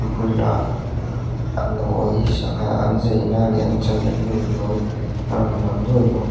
bulah a nawi sangha an zaina leh an channa hnu nawi a rawn lang nuaih bawk.